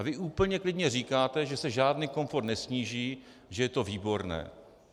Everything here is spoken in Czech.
A vy úplně klidně říkáte, že se žádný komfort nesníží, že je to výborné.